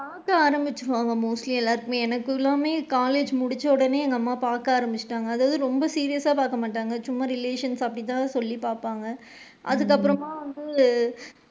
பாக்க ஆரம்பிச்சிடுவாங்க mostly எல்லாருக்குமே, எனக்கு எல்லாமே college முடிச்ச உடனே எங்க அம்மா பாக்க ஆரம்பிச்சிட்டாங்க அது ரொம்ப serious சா பாக்க மாட்டாங்க சும்மா relation அப்படி தான் சொல்லி பாப்பாங்க அதுக்கு அப்பறமா வந்து,